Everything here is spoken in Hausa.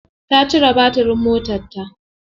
Ta cire batirin motarta.